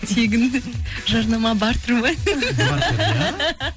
тегін жарнама бартэр ма бартэр иә